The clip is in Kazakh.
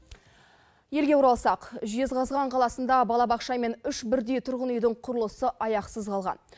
елге оралсақ жезқазған қаласында балабақша мен үш бірдей тұрғын үйдің құрылысы аяқсыз қалған